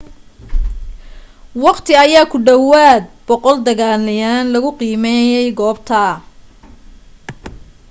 wakhti ayaa ku dhawaad 100 deganeyaal lagu qiimeeyay goobta